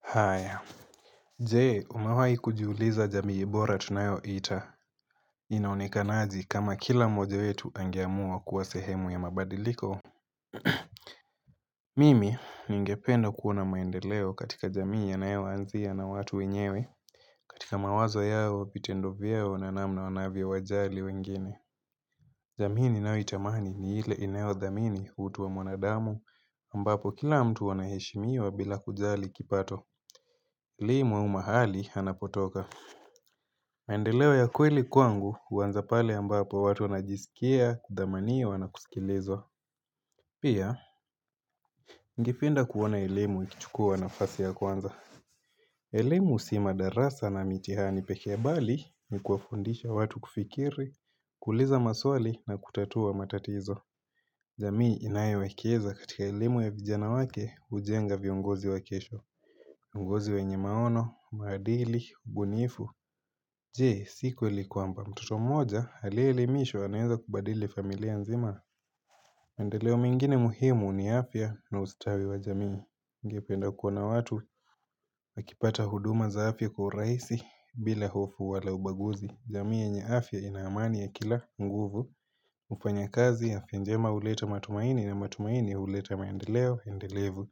Haya, jee umawai kujiuliza jamii bora tunayo ita, inaonekanaji kama kila moja wetu angeamua kuwa sehemu ya mabadiliko. Mimi, ningependa kuona maendeleo katika jamii ya yanaonzi ya na watu wenyewe, katika mawazo yao vitendo viao na namna wanavya wajali wengine. Jamii nao itamaani ni ile inayo dhamini utuwa mwanadamu, ambapo kila mtu anahishimiwa bila kujali kipato. Limu umahali hanapotoka. Maendeleo ya kweli kwangu uwanza pale ambapo watu wanajisikia, kudhamaniwa na kusikilizwa Pia, ningependa kuona elimu ikichukua nafasi ya kwanza. Elimu si madarasa na mitihani peke bali ni kuafundisha watu kufikiri, kuliza maswali na kutatua matatizo jamii inayowekeza katika elimu ya vijana wake ujenga viongozi wa kesho ngozi wenye maono, maadili, ubunifu Jee, sikweli kwamba mtoto moja aliyemishwa aneza kubadili familia nzima Mendeleo mingine muhimu ni afya na ustawi wa jamii Ngependa kuoana watu Akipata huduma zaafya kwa raisi bila hofu wala ubaguzi jamii ya nye afya inaamani ya kila nguvu Mfanya kazi afya njema uleta matumaini na matumaini uleta mendeleo endelevu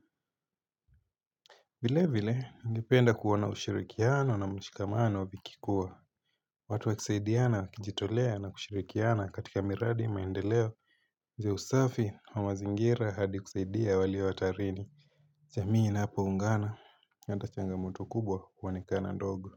vile vile, ngependa kuona ushirikiano na mshikamano wabikikua watu wakisaidiana wakijitolea na kushirikiana katika miradi maendeleo Ze usafi wa mazingira hadi kusaidia wali watarini Zamii na hapa ungana, natachangamoto kubwa huonekana ndogo.